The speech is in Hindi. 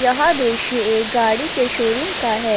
यह दृश्य एक गाड़ी के शोरूम का है।